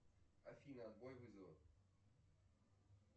афина отбой вызова